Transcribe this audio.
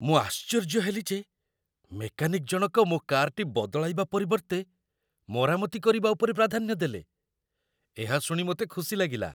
ମୁଁ ଆଶ୍ଚର୍ଯ୍ୟ ହେଲି ଯେ ମେକାନିକ୍ ଜଣକ ମୋ କାର୍‌ଟି ବଦଳାଇବା ପରିବର୍ତ୍ତେ ମରାମତି କରିବା ଉପରେ ପ୍ରାଧାନ୍ୟ ଦେଲେ। ଏହା ଶୁଣି ମୋତେ ଖୁସି ଲାଗିଲା।